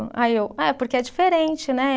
Aí eu, é porque é diferente, né?